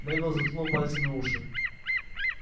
невилл заткнул пальцами уши